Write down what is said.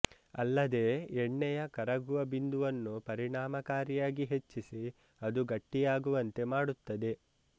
ಅಲ್ಲದೇ ಎಣ್ಣೆಯ ಕರಗುವ ಬಿಂದುವನ್ನು ಪರಿಣಾಮಕಾರಿಯಾಗಿ ಹೆಚ್ಚಿಸಿ ಅದು ಗಟ್ಟಿಯಾಗುವಂತೆ ಮಾಡುತ್ತದೆ